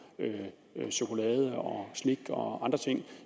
chokolade slik og andre ting